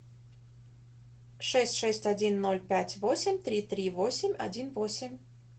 шесть шесть один ноль пять восемь три три восемь один восемь